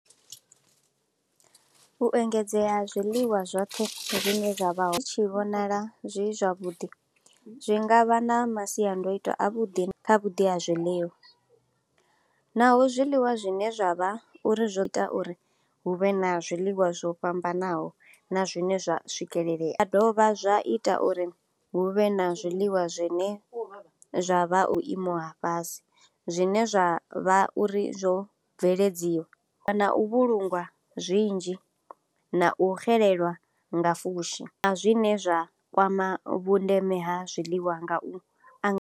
U engedzea zwiḽiwa zwoṱhe zwine zwavha hu tshi vhonala zwi zwavhuḓi, zwi ngavha na masiandoitwa a vhuḓi kha vhuḓi ha zwiḽiwa. Naho zwiḽiwa zwine zwa vha uri zwi ita uri hu vhe na zwiḽiwa zwo fhambanaho na zwine zwa swikeleleya. Zwa dovha zwa ita uri huvhe na zwiḽiwa zwine zwa vha u imo ha fhasi, zwine zwa vha uri zwo bveledziwa. Na u vhulungwa zwinzhi, na u xelelwa nga fushi, na zwine zwa kwama vhundeme ha zwiḽiwa nga u.